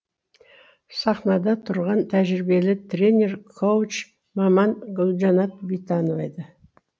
сахнада тұрған тәжірібиелі тренер коуч маман гулжанат битанова еді